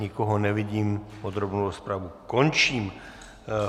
Nikoho nevidím, podrobnou rozpravu končím.